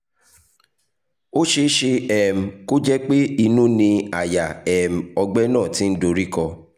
ó ṣeé ṣe um kó jẹ́ pé inú ni àyà um ọ̀gbẹ́ náà ti ń dorí kọ́